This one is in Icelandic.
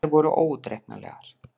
Þær voru óútreiknanlegar.